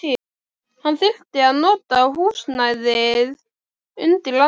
Hann þyrfti að nota húsnæðið undir annað.